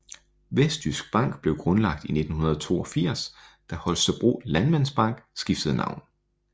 Vestjysk Bank blev grundlagt i 1982 da Holstebro Landmandsbank skiftede navn